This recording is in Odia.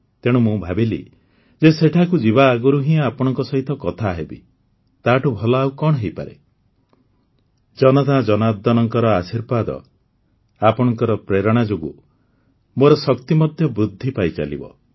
ତେଣୁ ମୁଁ ଭାବିଲି ଯେ ସେଠାକୁ ଯିବା ଆଗରୁ ହିଁ ଆପଣମାନଙ୍କ ସହିତ କଥା ହେବି ତାଠୁ ଭଲ ଆଉ କଣ ହୋଇପାରେ ଜନତା ଜନାର୍ଦ୍ଦନଙ୍କ ଆଶୀର୍ବାଦ ଆପଣଙ୍କ ପ୍ରେରଣା ଯୋଗୁଁ ମୋର ଶକ୍ତି ମଧ୍ୟ ବୃଦ୍ଧି ପାଇଚାଲିବ